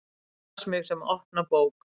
Las mig sem opna bók.